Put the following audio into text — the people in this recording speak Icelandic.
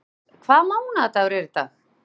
Matthías, hvaða mánaðardagur er í dag?